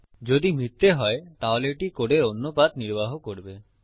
যদি মিথ্যা হয় তাহলে এটি কোডের অন্য পাথ নির্বাহ করবে